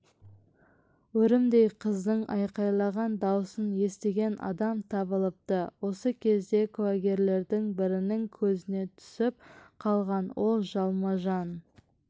өрімдей қыздың айқайлаған дауысын естіген адам табылыпты осы кезде куәгерлердің бірінің көзіне түсіп қалған ол жалма-жан